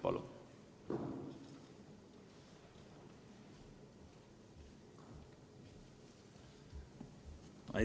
Palun!